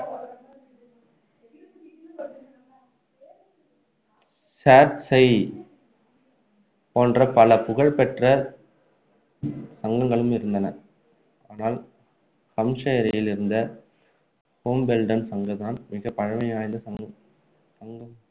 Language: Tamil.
சேர் செய் போன்ற பல புகழ்பெற்ற சங்கங்களும் இருந்தன ஆனால் ஹாம்ப்ஷயரில் இருந்த ஹாம்பெல்டன் சங்கம் தான் மிக பழமைவாய்ந்த சங்கமாக இருந்தது